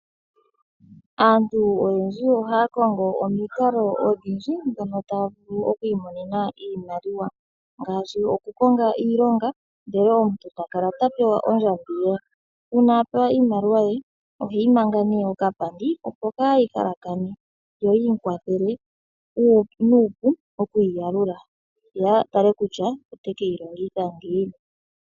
Aantu oyendji ohaya kongo omikalo odhindji dhono taya vulu oku imonena iimaliwa, ngaashi okukonga iilonga ndele omuntu ta kala ta pewa ondjambi ye. Uuna a pewa iimaliwa ye, oheyi manga nee okapandi opo kaayi halakane, yo yi mu kwathele nuupu oku yi yalula.ye a tale kutya ota ke yi longitha ngiini.